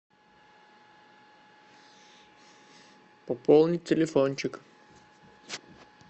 пополнить телефончик